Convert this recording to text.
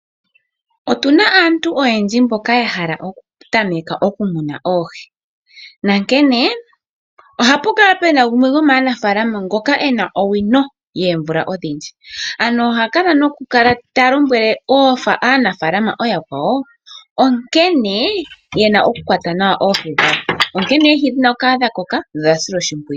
Otuna aantu oyendji mboka yahala okutameka okumuna oohi nankene ohapu kala puna gumwe gomanafaalama ngoka ena owino yoomvula odhindji. Oha lombwele aanafaalama ooyakwawo nkene yena okukwata nawa oohi, nkene oohi dhina okukala dhakoka nodha silwa oshimpwiyu.